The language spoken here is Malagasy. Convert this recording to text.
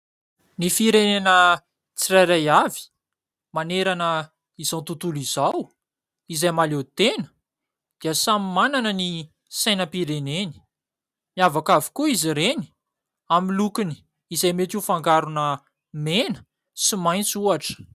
Ny firenena tsirairay avy manerana izao tontolo izao izay mahaleo tena dia samy manana ny sainam-pireneny; miavaka avokoa izy reny amin'ny lokony izay mety ho fangarona mena sy maitso ohatra.